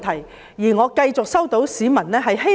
我亦繼續接獲市民的意見。